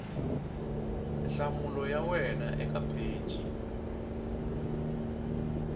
nhlamulo ya wena eka pheji